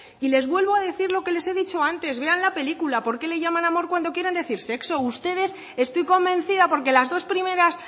y les vuelvo a decir lo que les he dicho antes vean la película por qué le llaman amor cuando quieren decir sexo ustedes estoy convencida porque las dos primeras